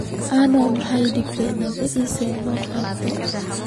Ano maxa ii dambta nabii Issa soqabto.